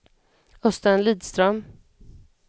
Östen Lidström